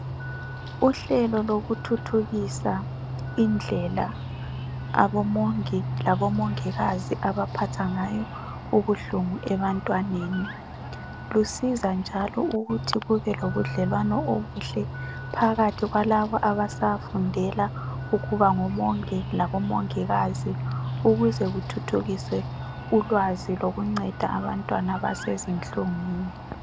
Uhlelo lokuthuthukisa indlela abo omongi labo mongikazi abaphangayo ubuhlungu ebantwaneni, lusiza njalo ukuthi kube lobudlelwano obuhle phakathi kwalaba abasafundela ukuba ngo mongi labo mongikazi ukuze kuthuthukiswe ulwazi lokunceda abantwana abasezinhlungwini.